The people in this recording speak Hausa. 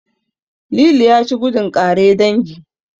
Lili ya ci gudun ƙare dangi.